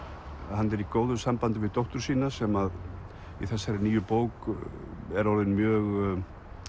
hann er í góðu sambandi við dóttur sína sem í þessari nýju bók er orðin mjög